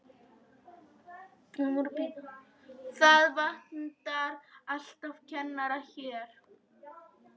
Það vantar alltaf kennara hérna.